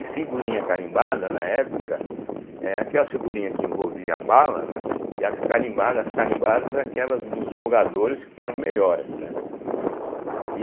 E figurinha carimbada, na época, é aquelas figurinhas que envolviam a bala, né, e as carimbadas, as carimbadas é aquelas dos jogadores que eram melhores, né, e